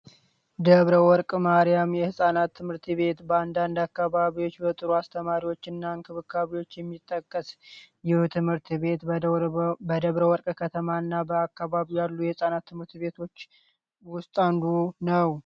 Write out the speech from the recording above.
ደብረ ወርቅ ማሪያም የህፃናት ትምህርት ቤት በአንዳንድ አካባቢዎች በጥሩ አስተማሪዎች እና እንክብካቤዎች የሚጠቀስ ልዩ ትምህርት ቤት በደብረ ወርቅ ከተማ እና በአካባቢው ካሉ የህፃናት ትምህርት ቤቶች ውስጥ አንዱ ነው።